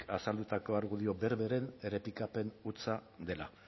azaldutako argudio berberen errepikapen hutsa dela